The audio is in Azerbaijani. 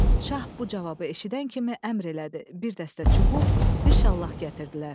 Şah bu cavabı eşidən kimi əmr elədi, bir dəstə çubuq, bir şallaq gətirdilər.